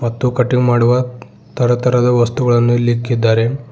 ಮತ್ತು ಕಟಿಂಗ್ ಮಾಡುವ ತರ ತರದ ವಸ್ತುಗಳನ್ನು ಇಲ್ಲಿ ಇಕ್ಕಿದ್ದಾರೆ.